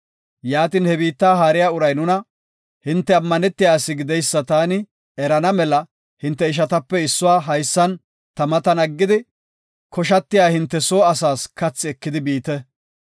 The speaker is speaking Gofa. Yaatin he biitta haariya uray nuna, ‘Hinte ammanetiya ase gideysa taani erana mela hinte ishatape issuwa haysan ta matan aggidi, koshatiya hinte soo asaas kathi ekidi biite.